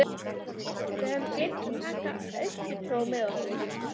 Við höfðum gleymt að taka austurtrog með okkur.